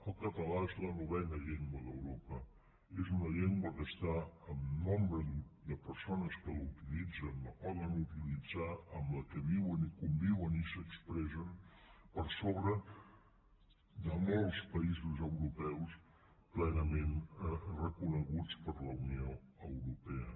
el català és la novena llengua d’europa és una llengua està en nombre de persones que la utilitzen que la poden utilitzar amb la qual viuen i conviuen i s’expressen per sobre de molts països europeus plenament reconeguts per la unió europea